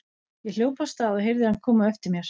Ég hljóp af stað og heyrði hann koma á eftir mér.